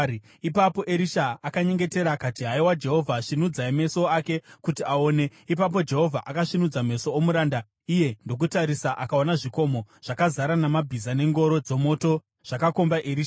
Ipapo Erisha akanyengetera akati, “Haiwa Jehovha, svinudzai meso ake kuti aone.” Ipapo Jehovha akasvinudza meso omuranda, iye ndokutarisa akaona zvikomo zvakazara namabhiza nengoro dzomoto zvakakomba Erisha.